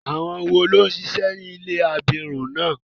Àwọn wo ló ń ṣíṣe ní ilé àwọn abirùn náà?